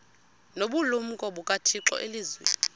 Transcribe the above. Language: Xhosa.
nobulumko bukathixo elizwini